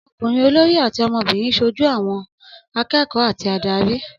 Ọmọkùnrin olórí àti ọmọbìnrin ṣojú ohùn àwọn akẹ́kọ̀ọ́ àti ìdarí.